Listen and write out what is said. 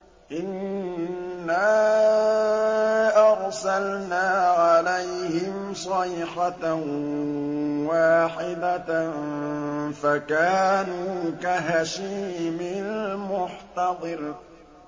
إِنَّا أَرْسَلْنَا عَلَيْهِمْ صَيْحَةً وَاحِدَةً فَكَانُوا كَهَشِيمِ الْمُحْتَظِرِ